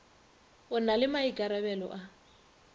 o na le maikarabelo a